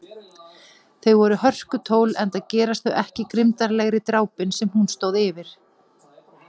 Þau voru hörkutól enda gerast þau ekki grimmdarlegri, drápin sem hún stóð fyrir.